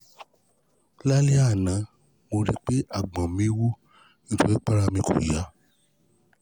Lálẹ́ àná, mo rí pé àgbọ̀n mi wú nítorí pé ara mi kò yá